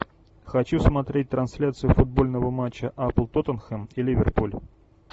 хочу смотреть трансляцию футбольного матча апл тоттенхэм и ливерпуль